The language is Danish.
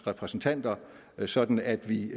repræsentanter sådan at vi